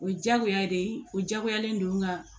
O ye diyagoya de ye o diyagoyalen don nga